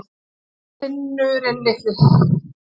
Nema þinurinn litli.